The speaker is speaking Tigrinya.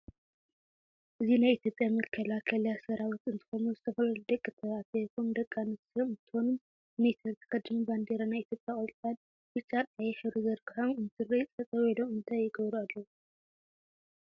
እዚ ናይ አትዮጵያ መካላከልያ ሰራዊት እንትኮኑ ዝተፈላላዩ ደቂ ተባዕትዮይኩን ደቂ ኣንስትዮ እንትኮኑ ሚንተሪ ተከዲኖም ባንዴራ ናይ ኢትዮጵያ ቆፃሊ፣ ብጫ፣ ቀይሕ ሕብሪ ዝርግሖም እንትርኢ ጠጠው ኢሎም እንታይ ይገብሪ ኣለው?